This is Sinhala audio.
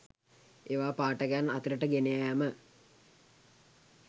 ඒවා පාඨකයන් අතරට ගෙන යාම